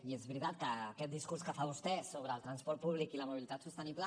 i és veritat que aquest discurs que fa vostè sobre el transport públic i la mobilitat sostenible